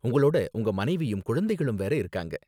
உங்களோட உங்க மனைவியும் குழந்தைங்களும் வேற இருக்காங்க.